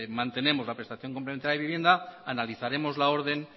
mantenemos la prestación complementaria de vivienda analizaremos la orden